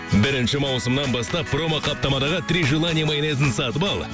бірінші маусымнан бастап промо қаптамадағы три желание майонезін сатып ал